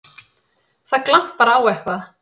Það glampar á eitthvað!